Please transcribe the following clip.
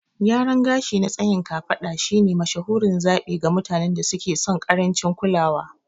Gyaran gashi na tsayin kafada shine mashahurin zaɓi ga mutanen da suke son ƙarancin kulawa.